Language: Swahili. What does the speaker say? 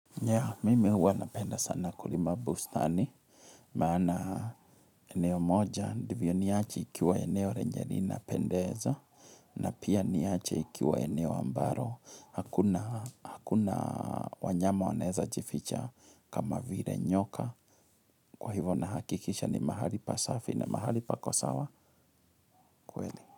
Nya, mimi huwa napenda sana kulima bustani, maana eneo moja, ndivyo niache ikiwa eneo lenye linapendeza, na pia niache ikiwa eneo ambalo, hakuna wanyama wanaeza jificha kama vile nyoka, kwa hivyo nahakikisha ni mahali pasafi na mahali pako sawa kweli.